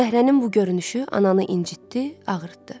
Dəhrənin bu görünüşü ananı incitdi, ağırdı.